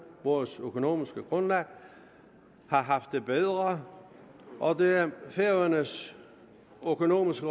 vores økonomiske grundlag har haft det bedre og det færøernes økonomiske